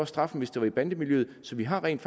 straffen hvis det var i bandemiljøet så vi har rent